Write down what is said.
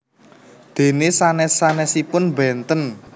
Dene sanes sanesipun benten